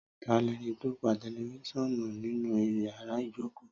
Tà lẹni tó pà tẹlifisiọnu nínù yàrá ìjókò?